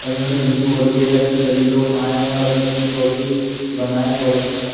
और इन्होंने जिम खोली है इसमें सभी लोग आए और अपनी-अपनी बॉडी बनाए बहुत अच्छा --